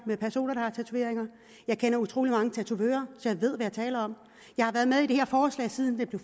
med personer der har tatoveringer jeg kender utrolig mange tatovører så jeg ved jeg taler om jeg har været med i det her forslag siden det blev